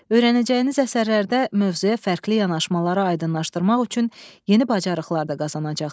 Öyrənəcəyiniz əsərlərdə mövzuya fərqli yanaşmaları aydınlaşdırmaq üçün yeni bacarıqlar da qazanacaqsınız.